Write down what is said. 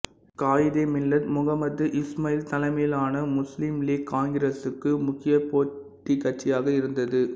காயிதே மில்லத் முகமது இஸ்மயீல் தலைமையிலான முஸ்லீம் லீக் காங்கிரசுக்கு முக்கிய போட்டிக்கட்சியாக இருந்தது